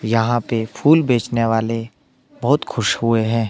यहां पे फूल बेचने वाले बहुत खुश हुए हैं।